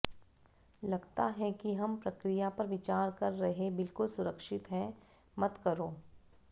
लगता है कि हम प्रक्रिया पर विचार कर रहे बिल्कुल सुरक्षित है मत करो